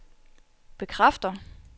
bekræfter